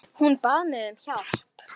Hún bað mig um hjálp.